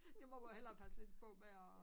Det må man hellere passe lidt på med at